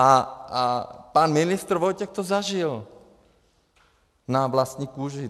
A pan ministr Vojtěch to zažil na vlastní kůži.